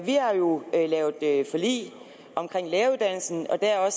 har jo lavet forlig omkring læreruddannelsen og der har